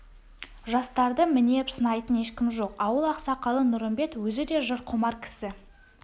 жастарды мінеп-сынайтын ешкім жоқ ауыл ақсақалы нұрымбет өзі де жыр құмар кісі